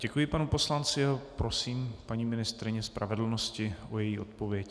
Děkuji panu poslanci a prosím paní ministryni spravedlnosti o její odpověď.